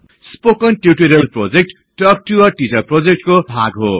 spoken tutorial project talk to a teacher प्रोजेक्टको भाग हो